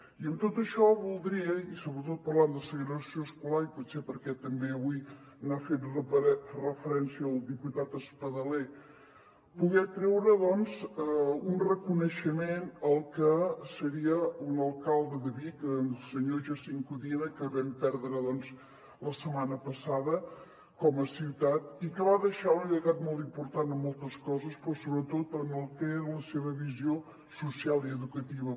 i amb tot això voldria i sobretot parlant de segregació escolar i potser perquè també avui hi ha fet referència el diputat espadaler poder treure doncs un reconeixement al que seria un alcalde de vic el senyor jacint codina que vam perdre la setmana passada com a ciutat i que va deixar un llegat molt important en moltes coses però sobretot en el que era la seva visió social i educativa